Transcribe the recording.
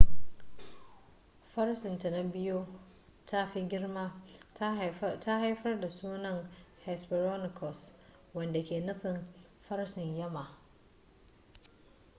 farcen ta na biyu ta fi girma ta haifar da sunan hesperonychus wanda ke nufin farcen yamma